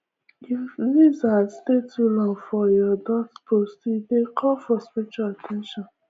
if lizard stay too long for ya doorpost e dey call for spiritual at ten tion